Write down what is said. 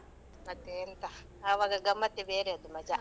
ಮತ್ತೆ ಎಂತ ಆವಾಗ ಗಮ್ಮತ್ತೇ ಬೇರೆ ಅದು ಮಜಾ.